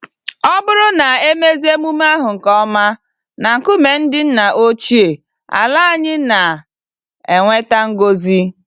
Ọbụrụ na emezie emume ahụ nke ọma na nkume ndị ńnà ochie, àlà anyị na enweta ngọzi